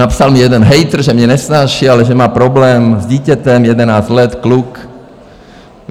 Napsal mi jeden hejtr, že mě nesnáší, ale že má problém s dítětem, jedenáct let, kluk.